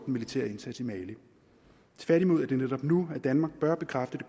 militære indsats i mali tværtimod er det netop nu at danmark bør bekræfte det